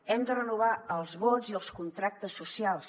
hem de renovar els vots i els contractes socials